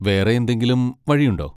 വേറെ എന്തെങ്കിലും വഴിയുണ്ടോ?